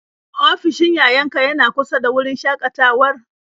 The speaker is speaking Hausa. Ofishin yayan ka yana kusa da wurin shakatawar?